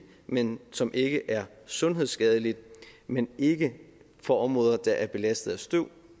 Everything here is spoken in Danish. men som ikke er sundhedsskadeligt men ikke for områder der er belastet af støv